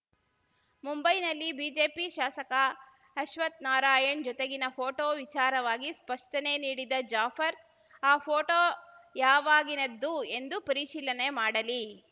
ಮುಂಬೈನಲ್ಲಿ ಬಿಜೆಪಿ ಶಾಸಕ ಅಶ್ವಥ್‌ ನಾರಾಯಣ್‌ ಜೊತೆಗಿನ ಫೋಟೋ ವಿಚಾರವಾಗಿ ಸ್ಪಷ್ಟನೆ ನೀಡಿದ ಜಾಫರ್ ಆ ಫೋಟೋ ಯಾವಾಗಿನದ್ದು ಎಂದು ಪರಿಶೀಲನೆ ಮಾಡಲಿ